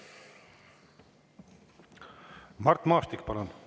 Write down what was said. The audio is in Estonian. Mart Maastik, palun!